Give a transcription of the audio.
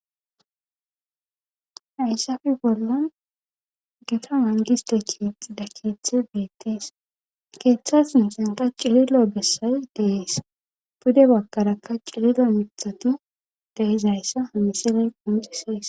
hayssafe bolla geta mangisteckhiix dakithe beettees keeththas musenta cililo gessay deees pude bakarakka cililo mithatu deizayssa hamisile qomusisees